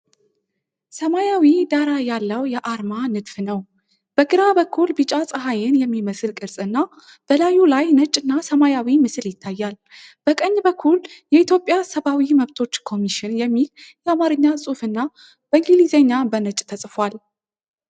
ሰማያዊ ዳራ ያለው የአርማ ንድፍ ነው። በግራ በኩል ቢጫ ፀሐይን የሚመስል ቅርጽና በላዩ ላይ ነጭ እና ሰማያዊ ምስል ይታያል። በቀኝ በኩል "የኢትዮጵያ ሰብአዊ መብቶች ኮሚሽን" የሚል የአማርኛ ጽሁፍ እና በእንግሊዝኛ በነጭ ተጽፏል።